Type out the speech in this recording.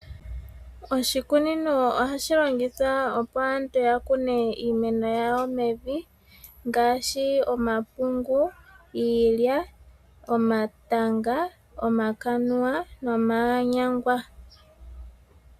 Oshikunino ohashi longithwa opo aantu ya kune iimeno yawo mevi ngaashi omapungu, iilya, omatanga, omakanuwa nomanyangwa.